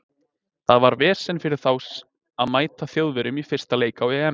Það var vesen fyrir þá að mæta Þjóðverjum í fyrsta leik á EM.